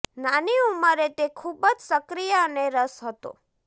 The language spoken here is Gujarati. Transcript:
નાની ઉંમરે તે ખૂબ જ સક્રિય અને રસ હતો